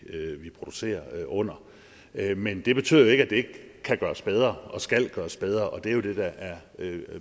producerer under men det betyder jo ikke at det ikke kan gøres bedre og skal gøres bedre og det er jo det der er